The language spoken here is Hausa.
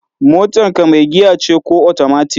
Motar ka mai giya ce ko otomatik?